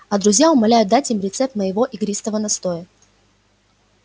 а друзья умоляют дать им рецепт моего игристого настоя